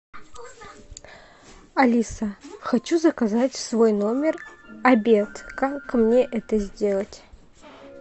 алиса хочу заказать в свой номер обед как мне это сделать